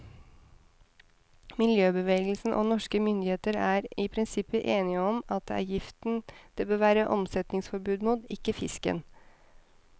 Miljøbevegelsen og norske myndigheter er i prinsippet enige om at det er giften det bør være omsetningsforbud mot, ikke fisken.